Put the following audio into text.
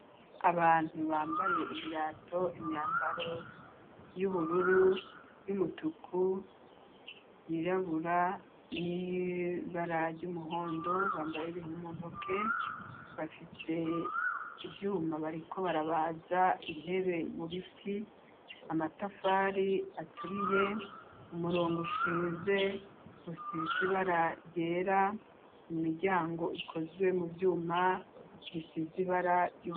Abantu bambaye ibirato imyambaro y'ubururu, y'umutuku ,yirabura n'ibara ry'umuhondo .Bambaye ibintu muntoke bafise ivyuma bariko barabaza intebe mu biti amatafari aturiye, umurongo ushinze usize ibara ryera imiryango ikozwe mu vyuma imisizi ry'ubururu.